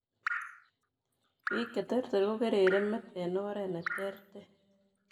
Biik cheterter kokerer met eng' oret netrter